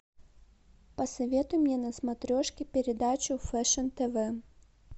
посоветуй мне на смотрешке передачу фэшн тв